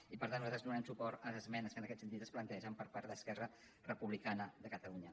i per tant nosaltres donarem suport a les esmenes que en aquest sentit es plantegen per part d’esquerra republicana de catalunya